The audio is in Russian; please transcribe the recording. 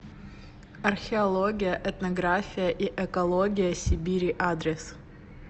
археология этнография и экология сибири адрес